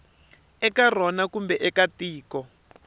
eka rona kumbe eka tiko